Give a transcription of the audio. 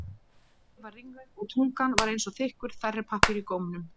Ég var ringluð og tungan var eins og þykkur þerripappír í gómnum.